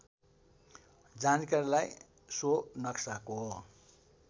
जानकारीलाई सो नक्साको